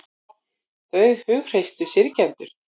Þau hughreystu syrgjendur